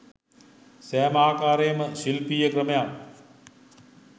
සෑම ආකාරයේම ශිල්පීය ක්‍රමයන්